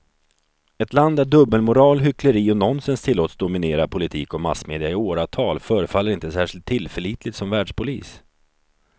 Ett land där dubbelmoral, hyckleri och nonsens tillåts dominera politik och massmedia i åratal förefaller inte särskilt tillförlitligt som världspolis.